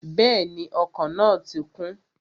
Bẹ́ẹ̀ni, ọkọ̀ náà ti kún